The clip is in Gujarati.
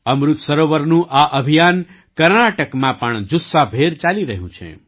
અમૃત સરોવરનું આ અભિયાન કર્ણાટકમાં પણ જુસ્સાભેર ચાલી રહ્યું છે